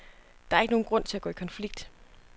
Der er ikke nogen grund til at gå i konflikt.